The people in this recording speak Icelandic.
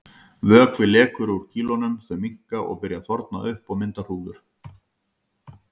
Vökvi lekur úr kýlunum, þau minnka og byrja að þorna upp og mynda hrúður.